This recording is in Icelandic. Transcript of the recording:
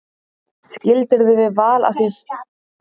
Skildirðu við Val af þínu frumkvæði eða þeirra?